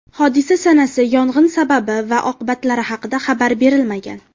Hodisa sanasi, yong‘in sababi va oqibatlari haqida xabar berilmagan.